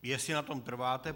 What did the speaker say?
Jestli na tom trváte.